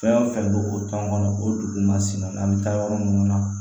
Fɛn o fɛn bɛ o kan kɔnɔ o dugu masina an bɛ taa yɔrɔ minnu na